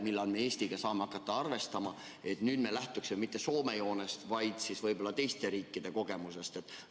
Millal me Eestiga saame hakata arvestama, et nüüd me ei lähtuks mitte Soome joonest, vaid võib-olla teiste riikide kogemusest?